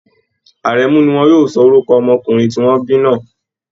Àrẹ̀mu ni wọn yóò sọ orúkọ ọmọkùnrin tí wọ́n bí náà